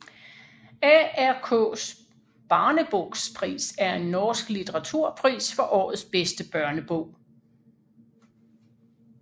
ARKs barnebokpris er en norsk litteraturpris for årets bedste børnebog